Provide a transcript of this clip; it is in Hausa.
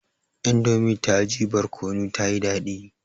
Indomie daji barkono kuma tayi daɗi